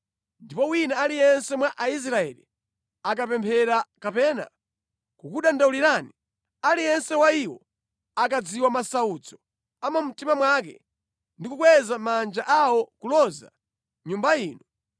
ndipo wina aliyense mwa Aisraeli akapemphera kapena kukudandaulirani, aliyense wa iwo akadziwa masautso a mu mtima mwake ndi kukweza manja awo kuloza Nyumba ino,